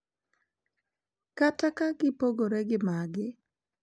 Kata ka gipogore gi maggi, .